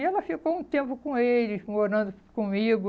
E ela ficou um tempo com eles, morando comigo.